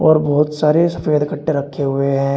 और बहोत सारे सफेद खट्टे रखे हुए हैं।